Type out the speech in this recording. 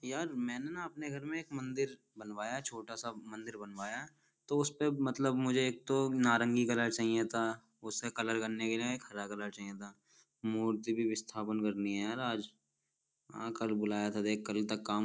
यार मैंने ना अपने घर में एक मंदिर बनवाया छोटा सा मंदिर बनवाया तो उसपे मतलब मुझे एक तो नारंगी कलर चाहिए था उससे कलर करने के लिए हरा कलर चाहिए था मूर्ति भी विस्थापन कर ली है यार आज कल बुलाया था देख कल तक का --